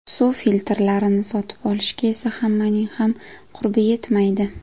Suv filtrlarini sotib olishga esa hammaning ham qurbi yetmaydi.